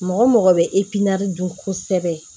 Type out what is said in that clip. Mɔgɔ mɔgɔ bɛ dun kosɛbɛ